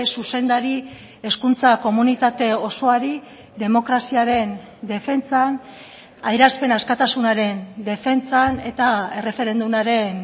zuzendari hezkuntza komunitate osoari demokraziaren defentsan adierazpen askatasunaren defentsan eta erreferendumaren